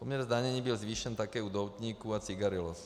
Poměr zdanění byl zvýšen také u doutníků a cigarillos.